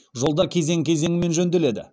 жолдар кезең кезеңімен жөнделеді